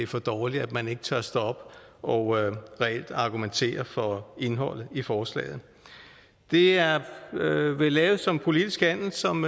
for dårligt at man ikke tør stå op og reelt argumentere for indholdet i forslaget det er vel lavet som en politisk handel som